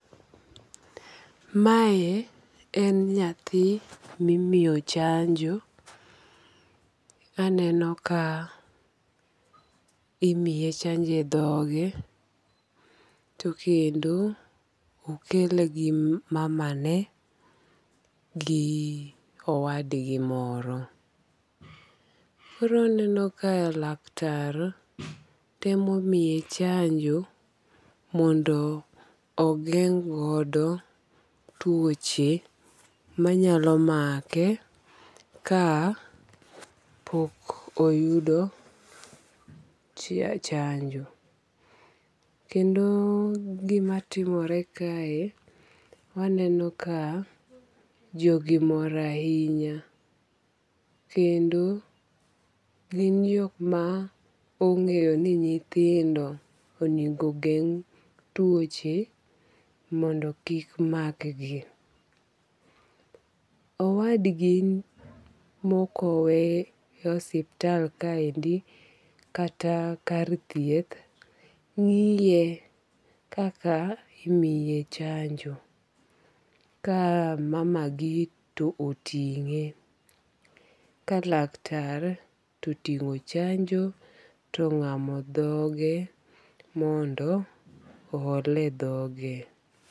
Mae en nyathi mimiyo chanjo, aneno ka imiye chanjo e dhoge, to kendo okele gi mamane gi owadgi moro, koro aneno ka laktar temo miye chanjo mondo ogeng' godo tuoche manyalo make ka pok oyudo chanjo, kendo gimatimore kae waneno ka jogi mor ahinya kendo gin jok ma ong'eyo ni nythindo onego geng' tuoche mondo kik makgi. Owadgi mokowe osiptal kaendi kata kar thieth ng'iye kaka imiye chanjo ka mamagi to oting'e ka laktar to otingo chanjo tong'amo dhoge mondo ohole dhoge